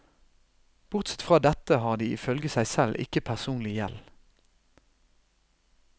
Bortsett fra dette har de ifølge seg selv ikke personlig gjeld.